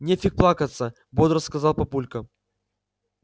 нефиг плакаться бодро сказал папулька